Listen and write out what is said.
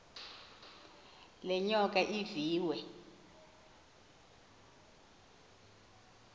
le nyoka iviwe